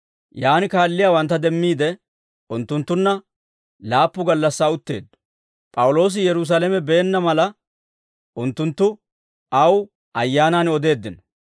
Yaan kaalliyaawantta demmiide, unttunttunna laappu gallassaa utteeddo; P'awuloosi Yerusaalame beenna mala, unttunttu aw Ayyaanaan odeeddino.